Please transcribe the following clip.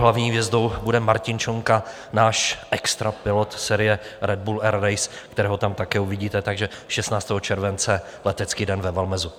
Hlavní hvězdou bude Martin Šonka, náš extra pilot série Red Bull Air Race, kterého tam také uvidíte, takže 16. července letecký den ve Valmezu.